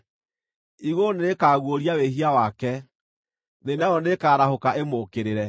Igũrũ nĩrĩkaguũria wĩhia wake; thĩ nayo nĩĩkarahũka ĩmũũkĩrĩre.